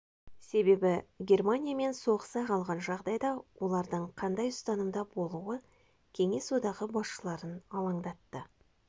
себебі германиямен соғыса қалған жағдайда олардың қандай ұстанымда болуы кеңес одағы басшыларын алаңдатты